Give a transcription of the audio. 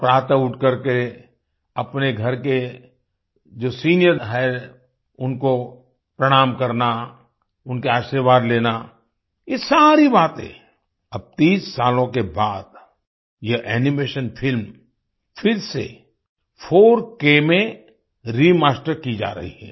प्रात उठ करके अपने घर के जो सीनियर हैं उनको प्रणाम करना उनके आशीर्वाद लेना ये सारी बातें अब 30 सालों के बाद ये एनिमेशन फिल्म फिर से 4K में रिमास्टर की जा रही है